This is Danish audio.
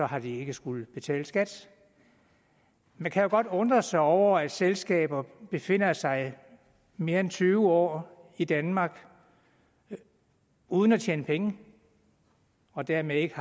har de ikke skullet betale skat man kan jo godt undre sig over at selskaber befinder sig mere end tyve år i danmark uden at tjene penge og dermed ikke